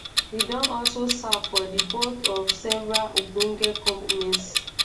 e don also serve for di boards of several ogbonge companies.